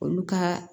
Olu ka